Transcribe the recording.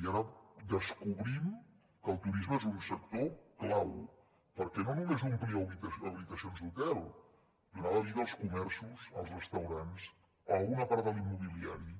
i ara descobrim que el turisme és un sector clau perquè no només omplia habitacions d’hotel donava vida als comerços als restaurants a una part de l’immobiliari